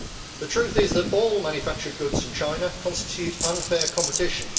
The truth is that all manufactured goods from China constitute unfair competition.